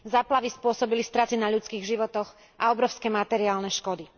Záplavy spôsobili straty na ľudských životoch a obrovské materiálne škody.